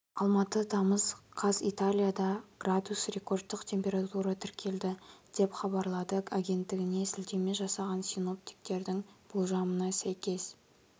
алматы тамыз қаз италияда градус рекордтық температура тіркелді деп хабарлады агенттігіне сілтеме жасаған синоптиктердің болжамына сәйкес